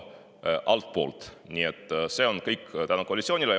See on kõik tänu koalitsioonile.